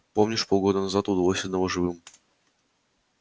помнишь полгода назад удалось одного живым